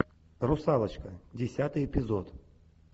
русалочка десятый эпизод